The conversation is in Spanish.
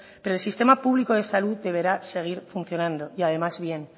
pero el sistema público de salud deberá seguir funcionando y además bien